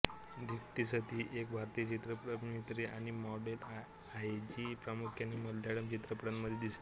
दीप्ती सती एक भारतीय चित्रपट अभिनेत्री आणि मॉडेल आहे जी प्रामुख्याने मल्याळम चित्रपटांमध्ये दिसते